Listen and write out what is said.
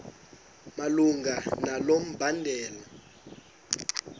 malunga nalo mbandela